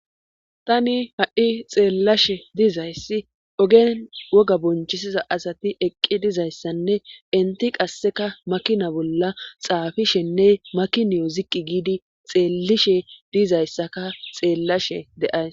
tani ha7i xeellashe dizayssi ogen woga bonchisiza asati eqqi dizayssanne inti qasseka makina bolla xaafishenne makiniyo ziqqi giidi xeellishe diizayssaka xeellashe de7ays